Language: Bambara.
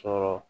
Sɔrɔ